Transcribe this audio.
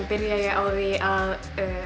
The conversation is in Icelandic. byrjaði ég á því að